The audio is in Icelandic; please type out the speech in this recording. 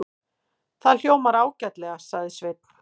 Það hljómar ágætlega, sagði Sveinn.